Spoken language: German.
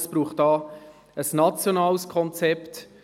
Es braucht ein nationales Konzept.